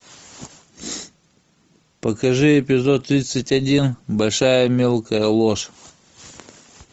покажи эпизод тридцать один большая мелкая ложь